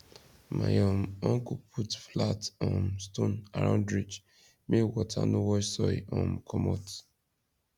my um uncle put flat um stone around ridge make water no wash soil um commot